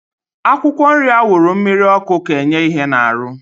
Akwụkwọ nri awuru mmiri ọkụ ka enye ihe na arụ